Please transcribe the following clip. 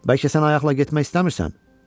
Bəlkə sən ayaqla getmək istəmirsən?